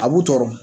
A b'u tɔɔrɔ